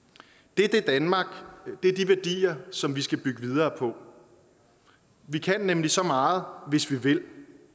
det er det danmark det er de værdier som vi skal bygge videre på vi kan nemlig så meget hvis vi vil